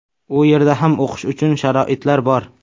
U yerda ham o‘qish uchun sharoitlar bor.